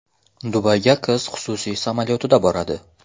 Dubayga qiz xususiy samolyotida boradi.